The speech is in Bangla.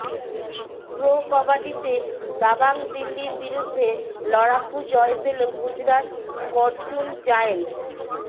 প্রো কবাডিতে দাবাং দিল্লির বিরুদ্ধে লড়াকু জয় পেল গুজরাত ফর্চুনজায়েন্টস